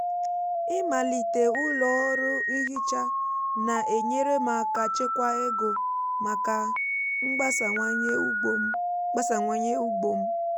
ịmalite ụlọ ọrụ nhicha na-enyere m áká chekwa ego maka mgbasawanye ugbo m. mgbasawanye ugbo m.